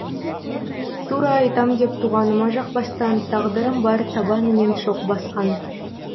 тура айтам деп туғаныма жақпастан тағдырым бар табанымен шоқ басқан